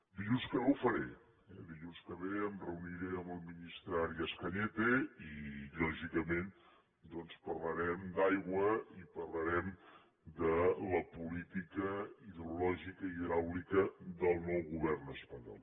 dilluns que ve ho faré dilluns que ve em reuniré amb el ministre arias cañete i lògicament doncs parlarem d’aigua i parlarem de la política hidrològica hidràulica del nou govern espanyol